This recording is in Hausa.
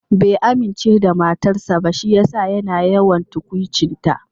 Bai amince da matarsa ba shi yasa yana yawan tukwuci ta.